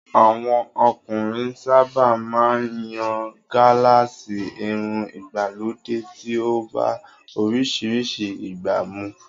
Àwọn ọkùnrin sábà máa ń yan gálààsì, irun ìgbàlódé tí ó bá oríṣiríṣi ìgbà mu